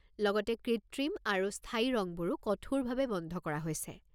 লগতে কৃত্ৰিম আৰু স্থায়ী ৰঙবোৰো কঠোৰভাৱে বন্ধ কৰা হৈছে!